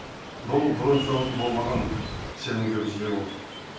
бұл бұрын соңды болмаған сенімге біз ие болдық